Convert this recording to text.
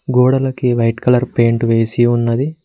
గోడలకి white colour paint వేసి ఉన్నది.